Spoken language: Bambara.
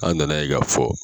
An nana ye k'a fɔ.